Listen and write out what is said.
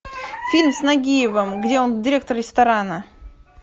фильм с нагиевым где он директор ресторана